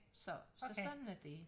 Så så sådan er det